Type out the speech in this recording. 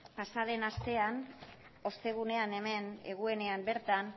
pasa den astean ostegunean hemen eguenean bertan